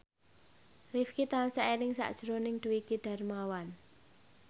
Rifqi tansah eling sakjroning Dwiki Darmawan